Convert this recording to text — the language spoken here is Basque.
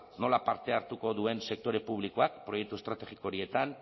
nola parte hartuko duen sektore publikoak proiektu estrategiko horietan